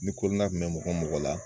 Ni kun bɛ mɔgɔ mɔgɔ la.